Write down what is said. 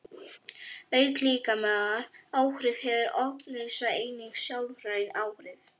Auk líkamlegra áhrifa hefur ofneysla einnig sálræn áhrif.